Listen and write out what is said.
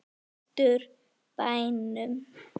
Vestur bænum.